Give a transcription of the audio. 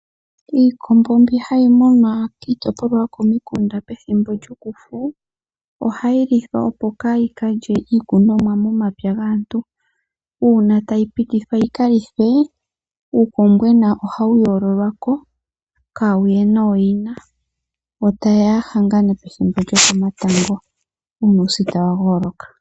Iikombo mbi hayi munwa komikunda pethimbo lyokufu ohayi lithwa opo kaayi kalye iikunomwa momapya gaantu. Una tayi pitithwa yika lithwe uukombwena ohawu yololwako kaawuye nooyina. Yo tayeya ya hangane kumwe nooyina una uusita wa gooloka.